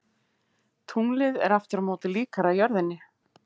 Tunglið er aftur á móti líkara jörðinni.